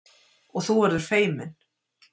Og þú verður feiminn.